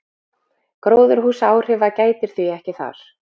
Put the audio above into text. gróðurhúsaáhrifa gætir því ekki þar